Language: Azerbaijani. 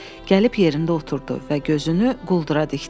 Gəlib yerində oturdu və gözünü quldura dikdi.